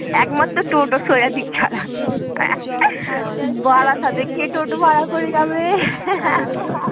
একমাত্র ছাড়া বারাসাতে কে টোটো ভাড়া করে যাবে